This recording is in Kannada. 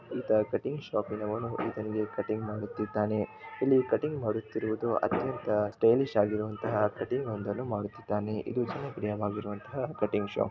ಈತ ಕಟಿಂಗ್ ಶಾಪಿನವನು ಈತನಿಗೆ ಕಟಿಂಗ್ ಮಾಡುತ್ತಿದ್ದಾನೆ ಇಲ್ಲಿ ಕಟಿಂಗ್ ಮಾಡುತ್ತಿರುವುದು ಅತ್ಯಂತ ಸ್ಟೈಲಿಶ್ ಆಗಿರುವಂಥಹ ಕಟಿಂಗ್ ಒಂದನ್ನು ಮಾಡುತ್ತಿದ್ದಾನೆ ಇದು ಜನಪ್ರಿಯವಾದಂತಹ ಕಟಿಂಗ್ ಶಾಪ್